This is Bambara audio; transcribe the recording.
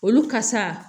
Olu ka sa